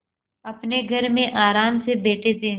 अपने घर में आराम से बैठे थे